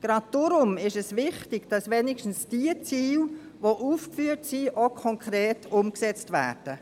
Gerade deshalb ist es wichtig, dass wenigstens diejenigen Ziele, die aufgeführt sind, auch konkret umgesetzt werden.